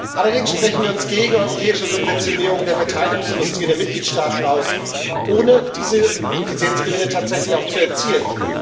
Allerdings sprechen wir uns gegen eine europäische Subventionierung der Verteidigungsindustrie in den Mitgliedstaaten aus, ohne diese Effizienzgewinne tatsächlich auch zu erzielen.